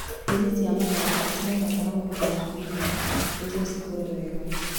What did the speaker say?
Nyeni cia matharũ cibataraga ũhehu wa kũigana nĩguo cikũre wega